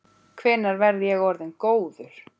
Hvenær verð ég orðinn góður?